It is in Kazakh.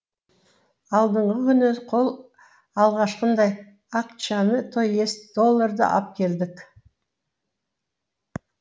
алдыңғы күні қол алғашқындай акчаны то есть долларды ап келдік